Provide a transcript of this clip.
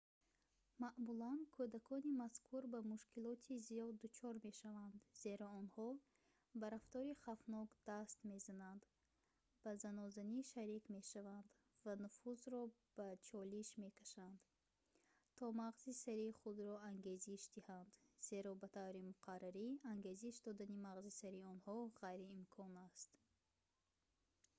маъмулан кӯдакони мазкур ба мушкилоти зиёд дучор мешаванд зеро онҳо ба рафтори хавфнок даст мезананд ба занозанӣ шарик мешаванд ва нуфузро ба чолиш мекашанд то мағзи сари худро ангезиш диҳанд зеро ба таври муқаррарӣ ангезиш додани мағзи сари онҳо ғайриимкон аст